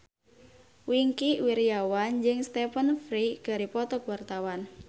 Wingky Wiryawan jeung Stephen Fry keur dipoto ku wartawan